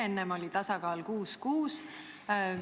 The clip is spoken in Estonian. Enne oli tasakaal 6 : 6.